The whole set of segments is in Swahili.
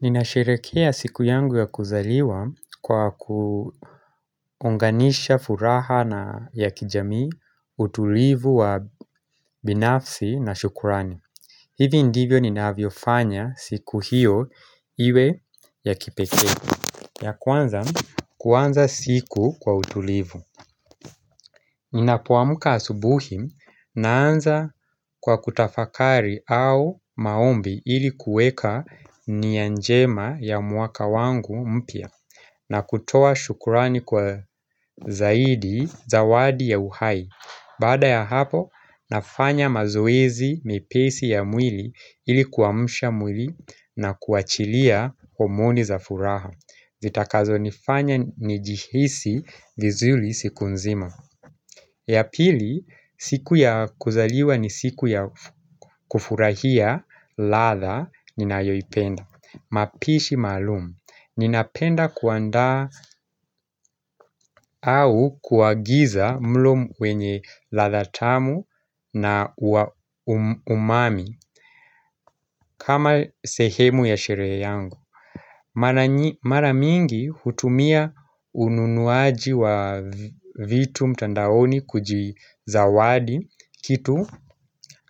Ninasherekea siku yangu ya kuzaliwa kwa kuonganisha furaha na ya kijamii utulivu wa binafsi na shukurani. Hivi ndivyo ninavyo fanya siku hiyo iwe ya kipekee. Ya kwanza kwanza siku kwa utulivu Ninapoamka asubuhi naanza kwa kutafakari au maombi ili kuweka nia njema ya mwaka wangu mpya na kutoa shukrani kwa zawadi ya uhai. Baada ya hapo nafanya mazoezi mepesi ya mwili ili kuamsha mwili na kuachilia omoni za furaha zitakazonifanya njihisi vizuri siku nzima ya pili, siku ya kuzaliwa ni siku ya kufurahia ladha ninayoipenda. Mapishi maalum. Ninapenda kuanda au kuagiza mlo wenye ladha tamu na umami kama sehemu ya sherehe yangu Mara mingi hutumia ununuaji wa vitu mtandaoni kujizawadi kitu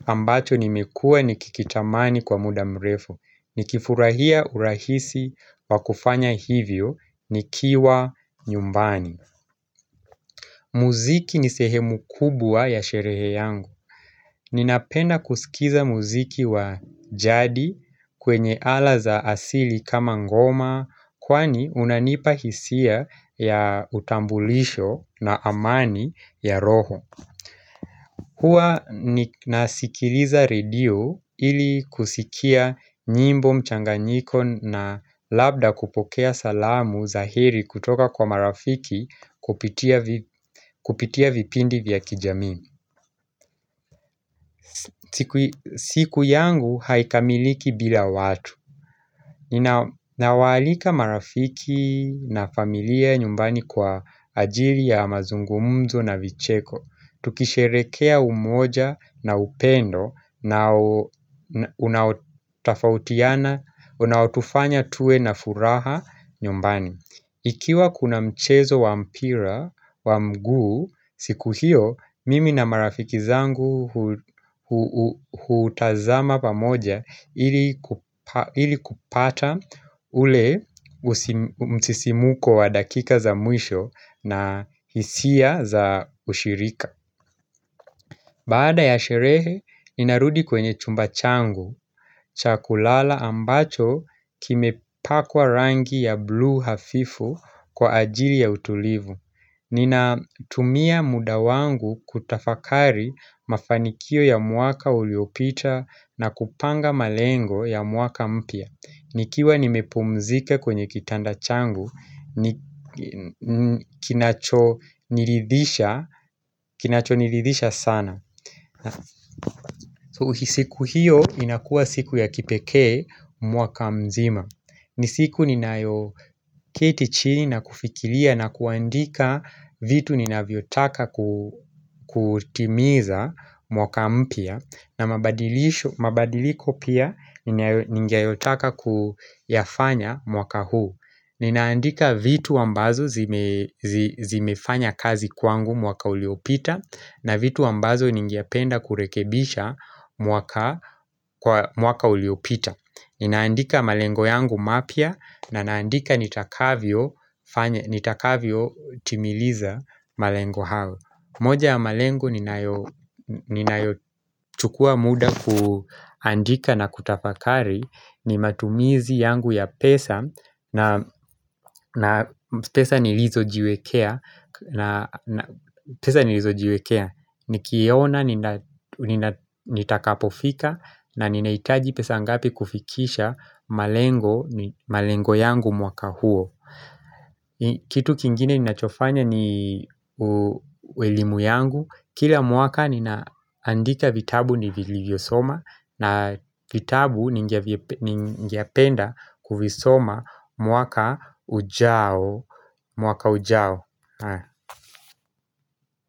ambacho nimekuwa nikikitamani kwa muda mrefu. Nikifurahia urahisi wakufanya hivyo ni kiwa nyumbani muziki ni sehemu kubwa ya sherehe yangu Ninapenda kusikiza muziki wa jadi kwenye ala za asili kama ngoma, kwani unanipa hisia ya utambulisho na amani ya roho Hua nasikiliza radio ili kusikia nyimbo mchanganyiko na labda kupokea salamu za heri kutoka kwa marafiki kupitia vipindi vya kijamii. Siku yangu haikamiliki bila watu. Ninawalika marafiki na familia nyumbani kwa ajiri ya mazungumzo na vicheko. Tukisheherekea umoja na upendo unao tufanya tuwe na furaha nyumbani Ikiwa kuna mchezo wa mpira wa mguu, siku hiyo mimi na marafiki zangu hutazama pamoja ili kupata ule msisimuko wa dakika za mwisho na hisia za ushirika. Baada ya sherehe, ninarudi kwenye chumba changu. Cha kulala ambacho kimepakwa rangi ya blue hafifu kwa ajili ya utulivu. Ninatumia muda wangu kutafakari mafanikio ya mwaka uliopita na kupanga malengo ya mwaka mpya. Nikiwa nimepumzike kwenye kitanda changu, kinachonirithisha sana. So siku hiyo inakua siku ya kipekee mwaka mzima. Ni siku ni nayo keti chini na kufikiria na kuandika vitu ninavyotaka kutimiza mwaka mpya na mabadiliko pia ningeyotaka kuyafanya mwaka huu Ninaandika vitu ambazo zimefanya kazi kwangu mwaka uliopita na vitu ambazo ningependa kurekebisha mwaka uliopita. Ninaandika malengo yangu mapya na naandika nitakavyo timiliza malengo hao. Moja ya malengo ninayo chukua muda kuandika na kutafakari ni matumizi yangu ya pesa na pesa nilizojiwekea pesa nilizo jiwekea, nikiona nitakapofika na ninahitaji pesa ngapi kufikisha malengo yangu mwaka huo Kitu kingine ninachofanya ni elimu yangu. Kila mwaka ninaandika vitabu ni vilivyo soma na vitabu ningependa kuvisoma mwaka ujao,